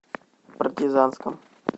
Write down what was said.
партизанском